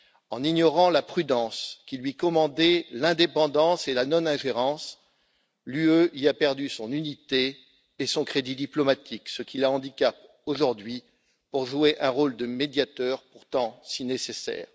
En ignorant la prudence qui lui commandait l'indépendance et la non ingérence, l'Union a perdu son unité et son crédit diplomatique, ce qui la handicape aujourd'hui pour jouer un rôle de médiateur, pourtant si nécessaire.